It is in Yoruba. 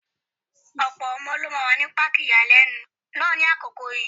Ọ̀pọ̀ ọmọ ló máa wà ní páàkì ìyàlẹ́nu náà ní àkókò yìí.